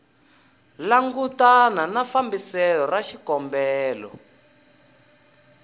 langutana na fambiselo ra xikombelo